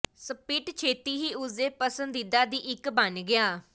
spirit ਛੇਤੀ ਹੀ ਉਸ ਦੇ ਪਸੰਦੀਦਾ ਦੀ ਇੱਕ ਬਣ ਗਿਆ